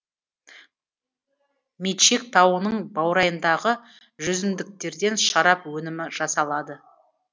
мечек тауының баурайындағы жүзімдіктерден шарап өнімі жасалады